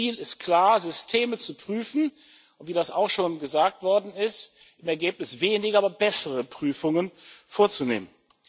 Das Ziel ist klar Systeme zu prüfen und, wie das auch schon gesagt worden ist, im Ergebnis weniger, aber bessere Prüfungen vorzunehmen.